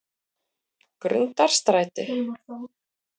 Grundarstræti